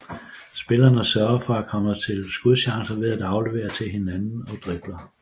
Spillerne søger at komme til skudchancer ved at aflevere til hinanden og dribler